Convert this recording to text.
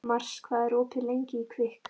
Mars, hvað er opið lengi í Kvikk?